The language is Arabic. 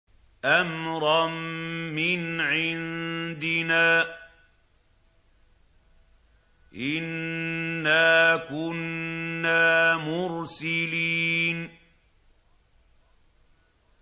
أَمْرًا مِّنْ عِندِنَا ۚ إِنَّا كُنَّا مُرْسِلِينَ